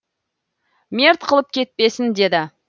мерт қылып кетпесін деді